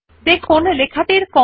বর্তমানে font size ১২ আছে